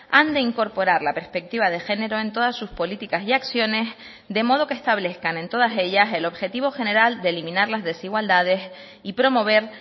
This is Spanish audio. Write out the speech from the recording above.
han de incorporar la perspectiva de género en todas sus políticas y acciones de modo que establezcan en todas ellas el objetivo general de eliminar las desigualdades y promover